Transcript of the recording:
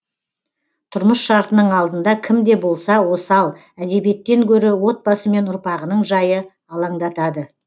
тұрмыс шартының алдында кім де болса осал әдебиеттен гөрі отбасы мен ұрпағының жайы алаңдатады